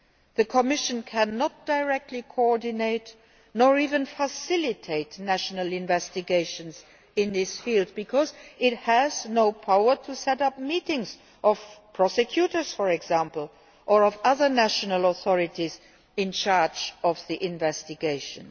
The Commission cannot directly coordinate or even facilitate national investigations in this field, because it has no power to set up meetings of prosecutors, for example, or of other national authorities in charge of the investigations.